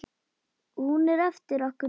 Hún er eftir okkur Dídí.